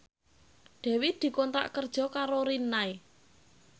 Dewi dikontrak kerja karo Rinnai